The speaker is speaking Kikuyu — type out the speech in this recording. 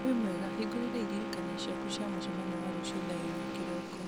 wĩ mwega hĩngũrĩra iririkania ciaku cia mũcemanio wa rũciũ thaa inya kĩroko